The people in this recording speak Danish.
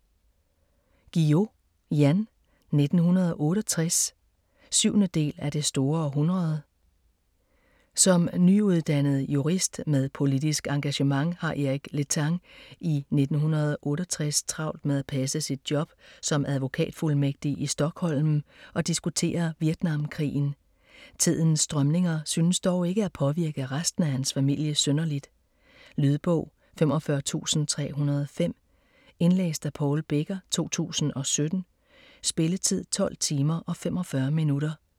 Guillou, Jan: 1968 7. del af Det store århundrede. Som nyuddannet jurist med politisk engagement har Eric Letang i 1968 travlt med at passe sit job som advokatfuldmægtig i Stockholm og diskutere Vietnamkrigen. Tidens strømninger synes dog ikke at påvirke resten af hans familie synderligt. Lydbog 45305 Indlæst af Paul Becker, 2017. Spilletid: 12 timer, 45 minutter.